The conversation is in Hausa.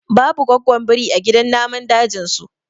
babu gwaggon biri a gidan namun dajin su